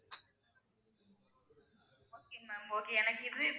Ma'am okay எனக்கு இது,